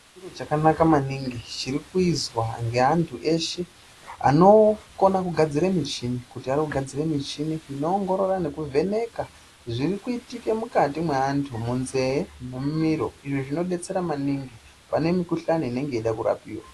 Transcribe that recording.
Chero chakanka maningi chiri kuizwa neantu edu eshe anogona kugadzira muchini inoongorora nekuvheneka zviri kuitika mukati meantu munzeve mumiro izvo zvinodetsera maningi vane mukhuhleni inoda kurapwa